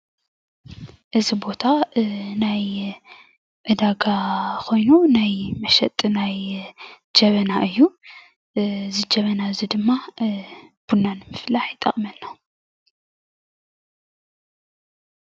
እዚ ቦታ ናይ ዕዳጋ ኮይኑ መሸጢ ናይ ጀበና እዩ. እዚ ጀበና እዚ ድማ ቡና ንምፍላሕ ይጠቕመና::